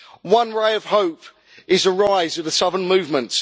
One ray of hope is the rise of the Southern Movement.